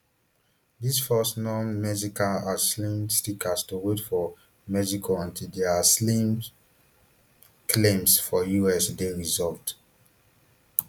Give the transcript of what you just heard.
dis force nonmexican aslim seekers to wait for mexico until dia aslim claims for us dey resolved